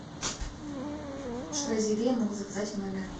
что из еды я могу заказать в номер